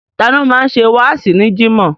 Tani ó máa ń ṣe wáàsí ní Jimoh?